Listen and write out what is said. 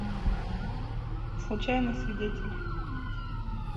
случайный свидетель